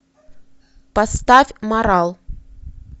поставь марал